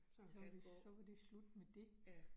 Så så var det slut med det